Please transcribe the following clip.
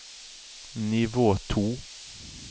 nivå to